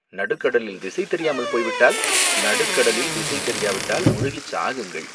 நடுக்கடலில் திசை தெரியாமல் போய்விட்டால், நடுக்கடலில் திசை தெரியவிட்டால் முழுகிச் சாகுங்கள்